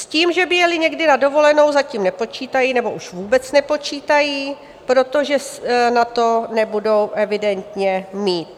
S tím, že by jeli někdy na dovolenou, zatím nepočítají, nebo už vůbec nepočítají, protože na to nebudou evidentně mít.